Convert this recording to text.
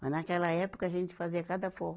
Mas, naquela época, a gente fazia cada forró.